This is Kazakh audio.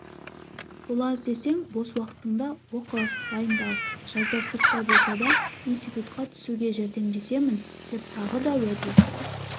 бұл аз десең бос уақытыңда оқы дайындал жазда сырттай болса да институтқа түсуге жәрдемдесемін деп тағы да уәде